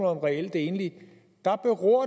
om reelt enlige